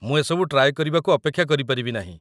ମୁଁ ଏସବୁ ଟ୍ରାଏ କରିବାକୁ ଅପେକ୍ଷା କରିପାରିବି ନାହିଁ ।